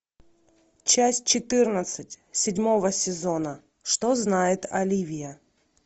часть четырнадцать седьмого сезона что знает оливия